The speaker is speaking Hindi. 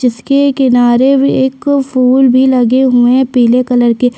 जिसके किनारे एक फूल भी लगे हुए है पीले कलर के।